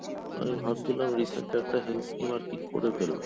আমি ভাবছিলাম recent একটা health scheme এর করে ফেলবো